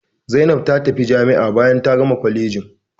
Zaina ta tafi jami'a bayan ta gama kwalejin.